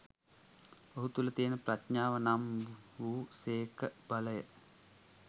ඔහු තුළ තියෙන ප්‍රඥාව නම් වූ සේඛ බලය.